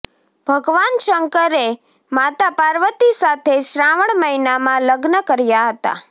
ભગવાન શંકરે માતા પાર્વતી સાથે શ્રાવણ મહીનામાં લગ્ન કર્યા હતા